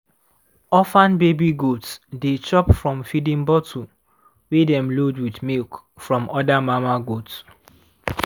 orphan baby goats dey chop from feeding bottle wey dem load with milk from other mama goats.